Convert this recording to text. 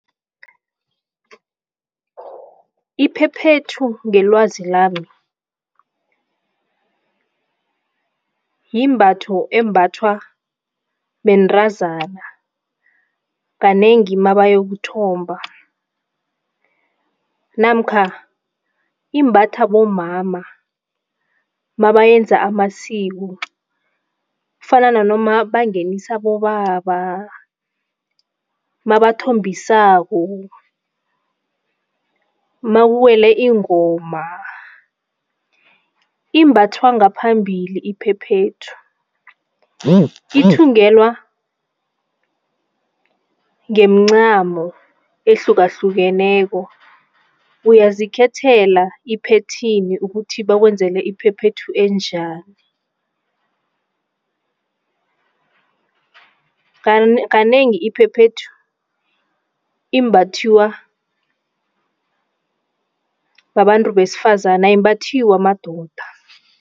Iphephethu ngelwazi lami, yimbatho embathwa bentazana kanengi mabayokuthomba namkha imbathwa bomama mabayenza amasiko. Kufana nanoma bangenisa abobaba, mabathombisako, makuwele ingoma, imbathwa ngaphambili iphephethu. Ithungelwa ngemncamo ehlukahlukeneko uyazikhethela iphetheni ukuthi bakwenzele iphephethu enjani? Kanengi iphephethu imbathiwa babantu besifazane ayimbathiwa madoda.